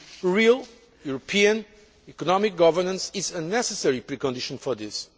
Real European economic governance is a necessary precondition for this.